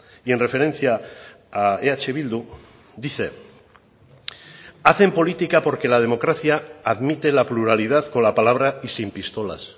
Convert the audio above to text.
y en referencia a eh bildu dice hacen política porque la democracia admite la pluralidad con la palabra y sin pistolas